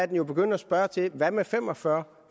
jo begynde at spørge til hvad med fem og fyrre